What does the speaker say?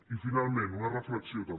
i finalment una reflexió també